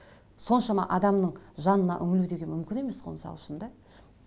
соншама адамның жанына үңілу деген мүмкін емес қой мысал үшін да